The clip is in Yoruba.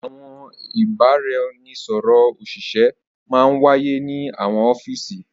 Àwọn ìbàràẹ̀nisọ̀rọ̀ ọṣìṣẹ̀ mà n wá yẹ ni àwọn ọfiísì.